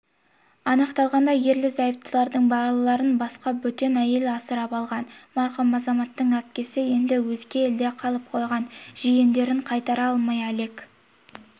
анықталғандай ерлі-зайыптылардың балаларын басқа бөтен әйел асырап алған марқұм азаматтың әпкесі енді өзге елде қалып қойған жиендерін қайтара алмай әлек